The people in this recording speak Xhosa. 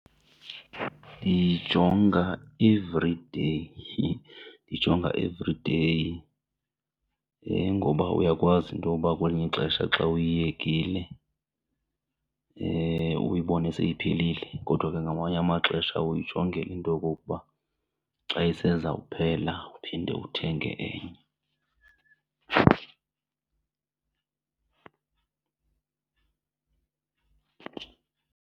Ndiyijonga everyday, ndiyijonga everyday. Ngoba uyakwazi intoba kwelinye ixesha xa uyiyekile uyibone seyiphelile kodwa ke ngamanye amaxesha uyijongela into yokokuba xa iseza kuphela uphinde uthenge enye.